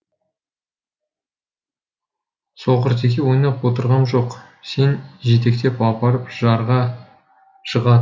соқыртеке ойнап отырғам жоқ сен жетектеп апарып жарға жыға